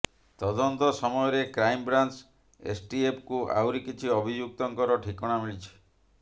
ତଦନ୍ତ ସମୟରେ କ୍ରାଇମବ୍ରାଞ୍ଚ ଏସଟିଏଫକୁ ଆହୁରି କିଛି ଅଭିଯୁକ୍ତଙ୍କର ଠିକଣା ମିଳିଛି